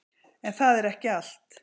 En það er ekki allt.